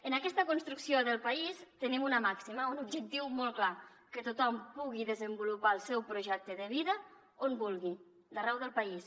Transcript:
en aquesta construcció del país tenim una màxima un objectiu molt clar que tothom pugui desenvolupar el seu projecte de vida on vulgui d’arreu del país